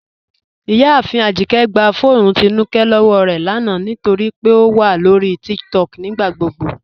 Ìyàáfin Ajíkẹ̀ gbà fọ́ọnù Tínúkẹ̀ lọ́wọ́ rẹ lána nítorí pé ó wà lọ́rí TikTok nígbàgbogbo